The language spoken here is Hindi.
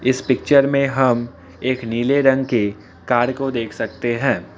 इस पिक्चर में हम एक नीले रंग के कार को देख सकते हैं।